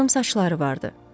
Qıvrım saçları vardı.